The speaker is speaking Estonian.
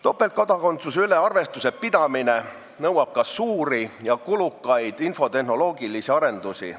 Topeltkodakondsuse üle arvestuse pidamine nõuab ka suuri ja kulukaid infotehnoloogilisi arendusi.